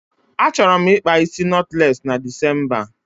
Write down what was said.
Achọrọ m ịkpa isi nọtlesị na Decemba